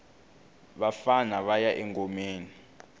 vafana vaya engomeni